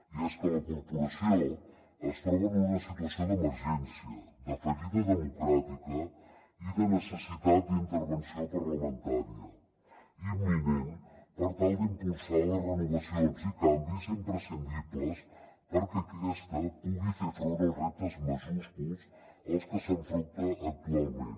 i és que la corporació es troba en una situació d’emergència de fallida democràtica i de necessitat d’intervenció parlamentària imminent per tal d’impulsar les renovacions i canvis imprescindibles perquè aquesta pugui fer front als reptes majúsculs als que s’enfronta actualment